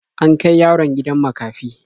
An kai yaron gidan makafi.